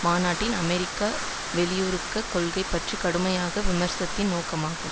மாநாட்டில் அமெரிக்க வெளியுறவு கொள்கை பற்றி கடுமையாக விமர்சித்ததின் நோக்கமாகும்